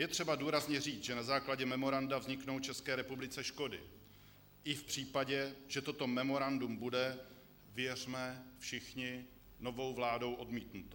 Je třeba důrazně říct, že na základě memoranda vzniknou České republice škody i v případě, že toto memorandum bude - věřme všichni - novou vládou odmítnuto.